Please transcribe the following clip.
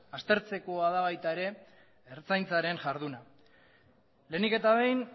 aztertzekoa da baita ertzaintzaren jarduna ere lehenik eta behin